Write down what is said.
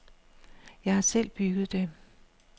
Jeg har selv bygget det.